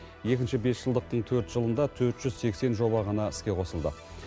екінші бесжылдықтың төрт жылында төрт жүз сексен жоба ғана іске қосылды